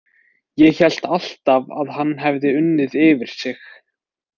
Ég hélt alltaf að hann hefði unnið yfir sig.